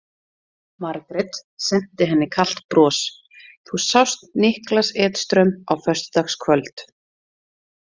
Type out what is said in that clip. Margrét senti henni kalt bros: Þú sást Niklas Edström á föstudagskvöld?